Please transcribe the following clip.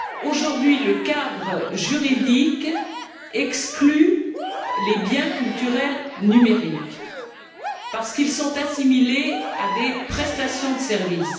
Aujourd'hui, le cadre juridique exclut les biens culturels numériques, parce qu'ils sont assimilés à des prestations de service.